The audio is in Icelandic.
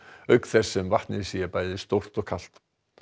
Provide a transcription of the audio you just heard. auk þess sem vatnið sé bæði stórt og kalt